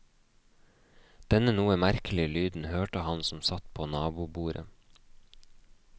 Denne noe merkelig lyden hørte han som satt på nabobordet.